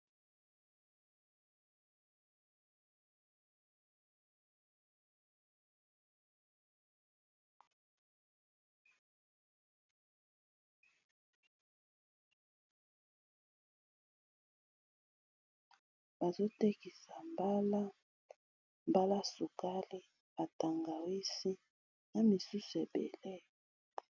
Bazotekisa mbala sokali atangawisi na misusu ebele